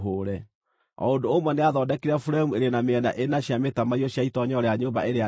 O ũndũ ũmwe nĩathondekire buremu irĩ na mĩena ĩna cia mĩtamaiyũ cia itoonyero rĩa nyũmba ĩrĩa nene.